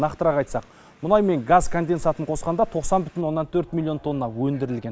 нақтырақ айтсақ мұнай мен газ конденсатын қосқанда тоқсан бүтін оннан төрт миллион тонна өндірілген